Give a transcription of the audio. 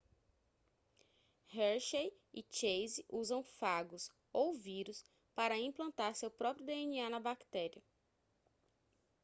hershey e chase usam fagos ou vírus para implantar seu próprio dna na bactéria